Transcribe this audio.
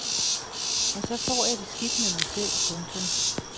Og så får jeg det skidt med mig selv. punktum